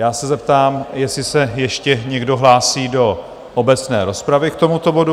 Já se zeptám, jestli se ještě někdo hlásí do obecné rozpravy k tomuto bodu?